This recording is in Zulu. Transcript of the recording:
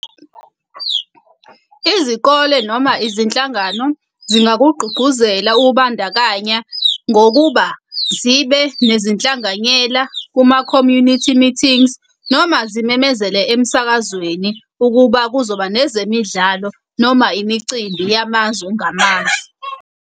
Izikole noma izinhlangano zingakugqugquzela ukubandakanya ngokuba zibe nezinhlanganyela kuma-community meetings, noma zimemezele emsakazweni ukuba kuzoba nezemidlalo noma imicimbi yamazwe ngamazwe.